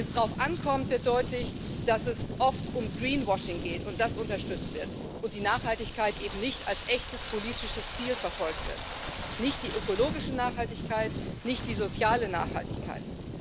Wenn es darauf ankommt, wird deutlich, dass es oft um greenwashing geht und das unterstützt wird, und die Nachhaltigkeit eben nicht als echtes politisches Ziel verfolgt wird nicht die ökologische Nachhaltigkeit, nicht die soziale Nachhaltigkeit.